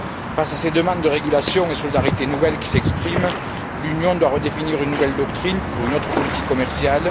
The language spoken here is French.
Face à ces demandes de régulation et de solidarité nouvelles qui s'expriment, l'Union doit définir une nouvelle doctrine pour une autre politique commerciale.